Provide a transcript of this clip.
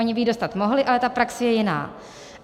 Oni by ji dostat mohli, ale ta praxe je jiná.